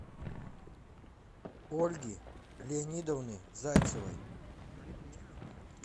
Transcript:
ольги леонидовны зайцевой